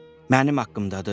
Mənim haqqımdadır?